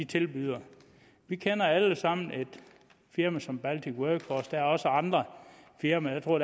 tilbyder vi kender alle sammen et firma som baltic workforce og der er også andre firmaer jeg tror